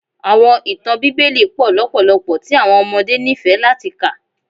Awọn itan Bibeli pọ lọpọlọpọ ti awọn ọmọde nifẹ lati ka.